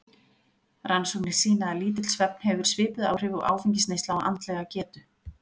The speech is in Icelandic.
Rannsóknir sýna að lítill svefn hefur svipuð áhrif og áfengisneysla á andlega getu.